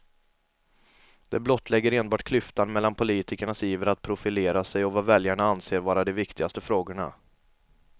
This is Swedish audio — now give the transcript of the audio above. Det blottlägger enbart klyftan mellan politikernas iver att profilera sig och vad väljarna anser vara de viktigaste frågorna.